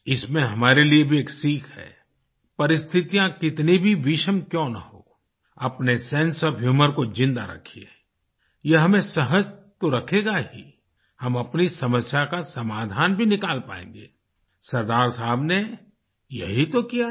इसमें हमारे लिए भी एक सीख है परिस्थितियाँ कितनी भी विषम क्योँ न हो अपने सेंसे ओएफ ह्यूमर को जिंदा रखिये यह हमें सहज तो रखेगा ही हम अपनी समस्या का समाधान भी निकाल पायेंगे आई सरदार साहब ने यही तो किया था